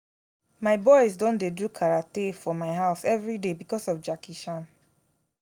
my boys don dey do karate for my house everyday because of jackie chan